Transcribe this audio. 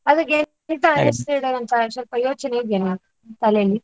ಅದಕ್ಕೆ ಎಂತ ಹೆಸರಿಡೋದು ಅಂತ ಸ್ವಲ್ಪ ಯೋಚನೆ ಇದಿಯಲ್ಲ ನಿಮ್ಮ ತಲೆಯಲ್ಲಿ.